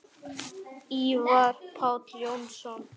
Ívar Páll Jónsson